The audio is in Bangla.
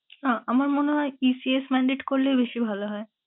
আহ আমার মনে হয় ESC mandate করলেই বেশি ভালো হয়।